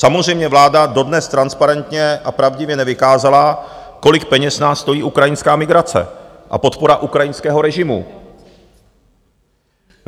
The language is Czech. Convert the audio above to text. Samozřejmě vláda dodnes transparentně a pravdivě nevykázala, kolik peněz nás stojí ukrajinská migrace a podpora ukrajinského režimu.